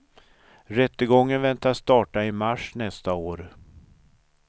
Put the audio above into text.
Rättegången väntas starta i mars nästa år.